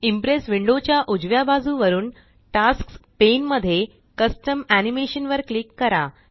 impress window च्या उजव्या बाजुवरून टास्क्स पेन मध्ये कस्टम एनिमेशन वर क्लिक करा